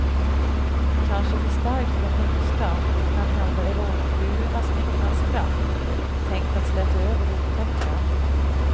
Kanske för starkt för de yngsta, och kanhända är rollfigurernas myckna skratt tänkt att släta över det otäcka.